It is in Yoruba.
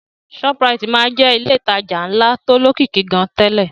Shoprite máa ń jẹ́ ilé ìtajà ńlá tó lókìkí gan-an tẹ́lẹ̀